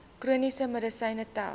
chroniese medisyne tel